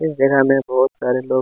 इस जगह में बहोत सारे लोग--